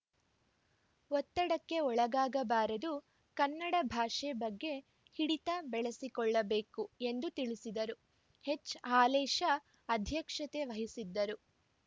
ಒತ್ತಡಕ್ಕೆ ಒಳಗಾಗಬಾರದು ಕನ್ನಡ ಭಾಷೆ ಬಗ್ಗೆ ಹಿಡಿತ ಬೆಳೆಸಿಕೊಳ್ಳಬೇಕು ಎಂದು ತಿಳಿಸಿದರು ಎಚ್‌ ಹಾಲೇಶ ಅಧ್ಯಕ್ಷತೆ ವಹಿಸಿದ್ದರು